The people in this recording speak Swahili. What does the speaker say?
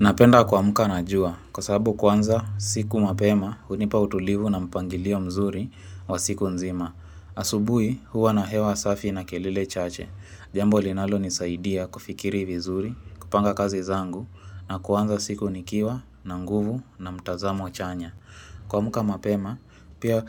Napenda kuamka na jua, kwa sababu kuanza siku mapema, hunipa utulivu na mpangilio mzuri wa siku nzima. Asubuhi, huwa na hewa safi na kelele chache. Jambo linalonisaidia kufikiri vizuri, kupanga kazi zangu, na kwanza siku nikiwa, na nguvu, na mtazamo chanya. Kuamka mapema, pia